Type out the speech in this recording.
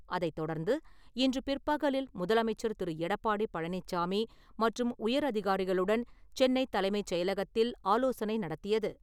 அதைத்தொடர்ந்து இன்று பிற்பகலில் முதலமைச்சர் திரு. எடப்பாடி பழனிச்சாமி மற்றும் உயரதிகாரிகளுடன் சென்னை தலைமைச் செயலகத்தில் ஆலோசனை நடத்தியது.